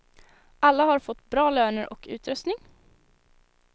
Alla har fått bra löner och utrustning.